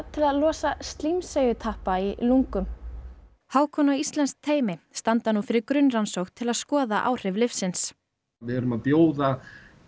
til að losa slímseigjutappa í lungum Hákon og íslenskt teymi standa nú fyrir grunnrannsókn til að skoða áhrif lyfsins við erum að bjóða